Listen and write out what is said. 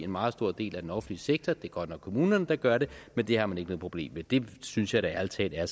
meget stor del af den offentlige sektor det er godt nok kommunerne der gør det men det har man ikke noget problem med det synes jeg da ærlig talt er